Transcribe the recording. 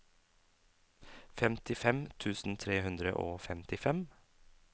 femtifem tusen tre hundre og femtifem